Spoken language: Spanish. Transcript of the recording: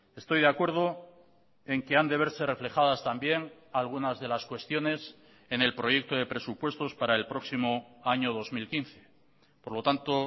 estoy de acuerdo en que han de verse reflejadas también algunas de las cuestiones en el proyecto de presupuestos para el próximo año dos mil quince por lo tanto